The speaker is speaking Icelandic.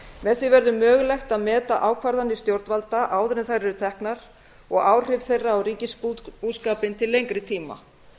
með því verður mögulegt að meta ákvarðanir stjórnvalda áður en þær eru teknar og áhrif þeirra á ríkisbúskapinn til lengri tíma